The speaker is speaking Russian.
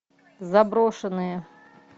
заброшенные